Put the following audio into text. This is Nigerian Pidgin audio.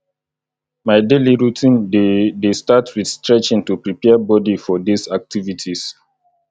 my daily morning routine dey dey start with stretching to prepare body for days activities